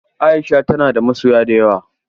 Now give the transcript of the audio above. Aisha tana da masoya da yawa.